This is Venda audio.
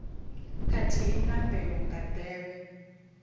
khathihi na mbeu nga nḓevhe